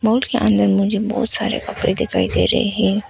के अंदर मुझे बहोत सारे कपड़े दिखाई दे रहे हैं।